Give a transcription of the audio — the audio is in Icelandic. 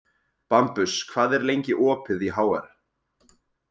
Bambus, hvað er lengi opið í HR?